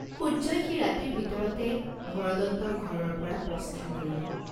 সূৰ্য্যই সেই ৰাতিৰ ভিতৰতে হৰদত্তৰ ঘৰৰপৰা প্ৰস্থান কৰিলে।